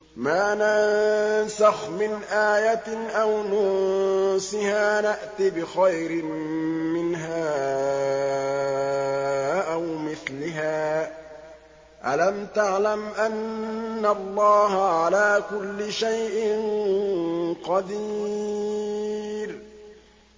۞ مَا نَنسَخْ مِنْ آيَةٍ أَوْ نُنسِهَا نَأْتِ بِخَيْرٍ مِّنْهَا أَوْ مِثْلِهَا ۗ أَلَمْ تَعْلَمْ أَنَّ اللَّهَ عَلَىٰ كُلِّ شَيْءٍ قَدِيرٌ